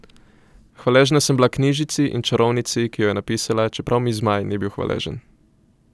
Hvaležna sem bila knjižici in čarovnici, ki jo je napisala, čeprav mi Zmaj ni bil hvaležen.